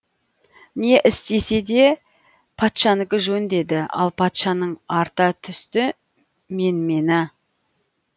не істесе де патшанікі жөн деді ал патшаның арта түсті менмені